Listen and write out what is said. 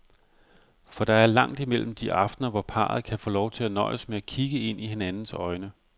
For der er langt imellem de aftener, hvor parret kan få lov til at nøjes med at kigge ind i hinandens øjne.